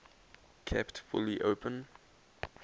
kept fully open